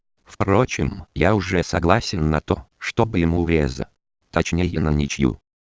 впрочем я уже согласен на то чтобы ему врезать точнее на ничью